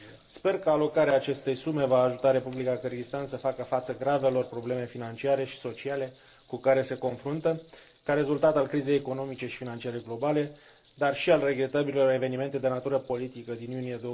Sper că alocarea acestei sume va ajuta Republica Kârgâzstan să facă față gravelor probleme financiare și sociale cu care se confruntă ca rezultat al crizei economice și financiare globale, dar și al regretabilelor evenimente de natură politică din iunie